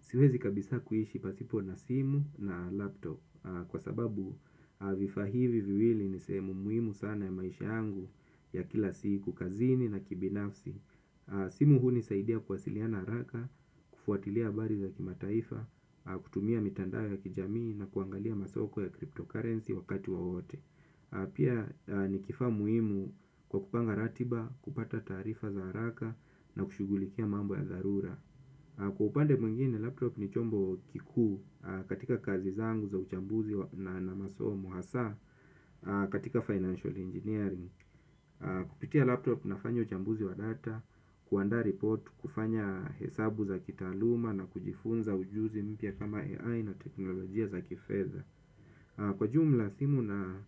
Siwezi kabisa kuishi pasipo na simu na laptop, kwa sababu vifaa hivi viwili ni sehemu muimu sana ya maisha yangu ya kila siku kazini na kibinafsi. Simu hunisaidia kuwasiliana haraka, kufuatilia habari za kimataifa, kutumia mitandao ya kijamii na kuangalia masoko ya crypto currency wakati wowote. Pia ni kifaa muhimu kwa kupanga ratiba, kupata taarifa za haraka na kushughulikia mambo ya dharura. Kwa upande mwingine, laptop ni chombo kikuu katika kazi zangu za uchambuzi na masomo hasa katika financial engeneering. Kupitia laptop nafanya uchambuzi wa data, kuanda report, kufanya hesabu za kitaaluma na kujifunza ujuzi mpya kama AI na teknolojia za kifedha. Kwa ujumla simu na